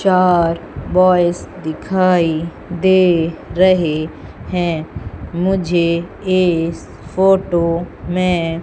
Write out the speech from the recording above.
चार बॉयज दिखाई दे रहे हैं मुझे इस फोटो में--